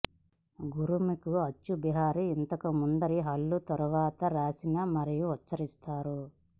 గురుముఖి అచ్చు బిహారీ ఇంతకు ముందరి హల్లు తరువాత రాసిన మరియు ఉచ్ఛరిస్తారు